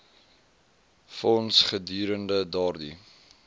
fonds gedurende daardie